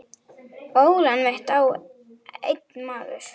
Ólán mitt á einn maður.